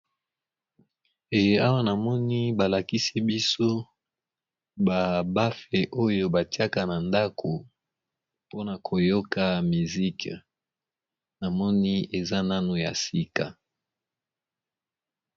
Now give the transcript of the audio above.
Ee awa na moni ba lakisi biso ba bafe oyo batiaka na ndako pona koyoka misike na moni eza nano ya sika.